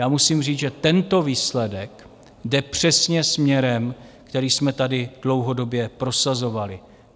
Já musím říct, že tento výsledek jde přesně směrem, který jsme tady dlouhodobě prosazovali.